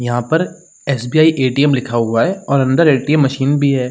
यहाँ पर SBI ATM लिखा हुआ है और अंदर एटीएम मशीन भी है।